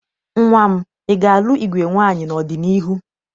Nnwa m, ị ga-alụ igwe nwaanyị n'ọdịniihu?